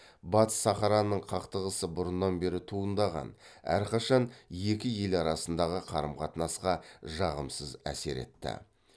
батыс сахараның қақтығысы бұрыннан бері туындаған әрқашан екі ел арасындағы қарым қатынасқа жағымсыз әсер етті